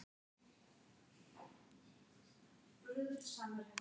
hann var eitt af hinum seinþroska tónskáldum sögunnar